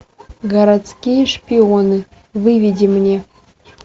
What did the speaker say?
городские шпионы выведи мне